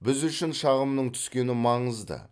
біз үшін шағымның түскені маңызды